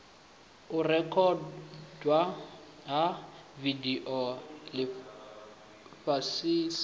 u rekhodwa ha vidio zwifanyiso